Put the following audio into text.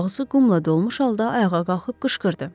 Ağzı qumla dolmuş halda ayağa qalxıb qışqırdı.